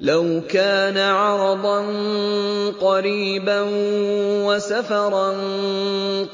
لَوْ كَانَ عَرَضًا قَرِيبًا وَسَفَرًا